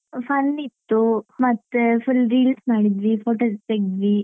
Fun ಇತ್ತು ಮತ್ತೆ full Reels ಮಾಡಿದ್ವಿ photos ತೇಗ್ದ್ವಿ.